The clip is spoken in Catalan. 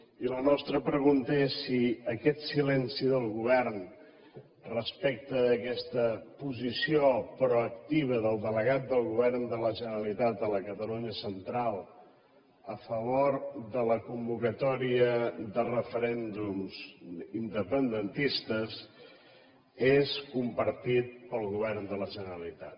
i la nostra pregunta és si aquest silenci del govern respecte d’aquesta posició proactiva del delegat del govern de la generalitat a la catalunya central a favor de la convocatòria de referèndums independentistes és compartit pel govern de la generalitat